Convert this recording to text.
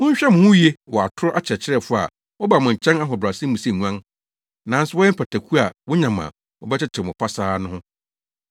“Monhwɛ mo ho yiye wɔ atoro akyerɛkyerɛfo a wɔba mo nkyɛn ahobrɛase mu sɛ nguan, nanso wɔyɛ mpataku a wonya mo a, wɔbɛtetew mo pasaa no ho.